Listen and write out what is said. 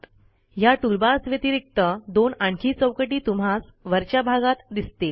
ह्या टूलबार्स व्यतिरिक्त दोन आणखी चौकटी तुम्हास वरच्या भागात दिसतील